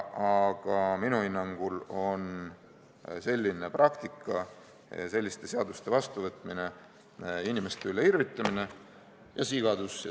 Aga minu hinnangul on selline praktika ja selliste seaduste vastuvõtmine inimeste üle irvitamine ja sigadus.